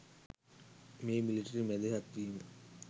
මේ මිලිටරි මැදිහත් වීම